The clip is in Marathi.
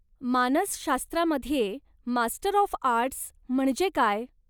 मानसशास्त्रामध्ये मास्टर ऑफ आर्ट्स म्हणजे काय?